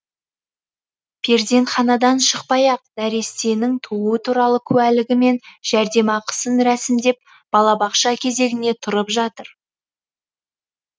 перзентханадан шықпай ақ нәрестенің туу туралы куәлігі мен жәрдемақысын рәсімдеп балабақша кезегіне тұрып жатыр